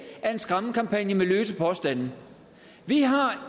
er en skræmmekampagne med løse påstande vi har